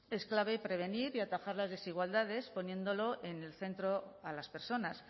es clave prevenir y atajar las desigualdades poniéndolo en el centro a las personas